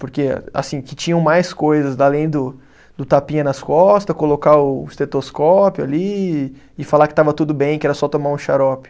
Porque, assim, que tinham mais coisas, além do do tapinha nas costa, colocar o estetoscópio ali e falar que estava tudo bem, que era só tomar um xarope.